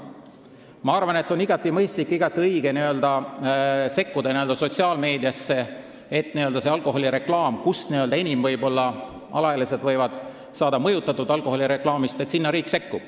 Ma arvan, et on igati mõistlik ja õige, et riik sekkub sotsiaalmeediasse, kus alaealised võivad ehk enim alkoholireklaamist mõjutusi saada.